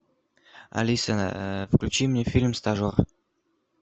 алиса включи мне фильм стажер